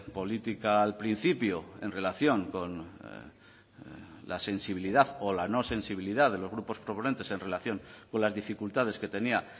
política al principio en relación con la sensibilidad o la no sensibilidad de los grupos proponentes en relación con las dificultades que tenía